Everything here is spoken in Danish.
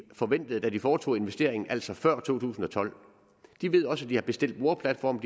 forventet da de foretog investeringen altså før to tusind og tolv de ved også at de har bestilt boreplatforme